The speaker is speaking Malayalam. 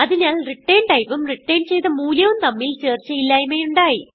അതിനാൽ റിട്ടർൻ ടൈപ്പും റിട്ടർൻ ചെയ്ത മൂല്യവും തമ്മിൽ ചേർച്ചയില്ലായ്മ ഉണ്ടായി